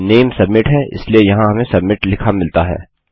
नाम सबमिट है इसलिए यहाँ हमें सबमिट लिखा मिलता है